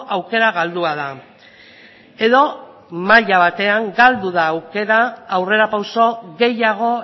aukera galdua da edo maila batean galdu da aukera aurrerapauso gehiago